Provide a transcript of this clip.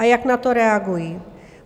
A jak na to reagují?